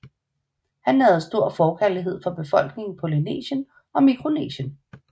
Han nærede en stor forkærlighed for befolkningerne i Polynesien og Mikronesien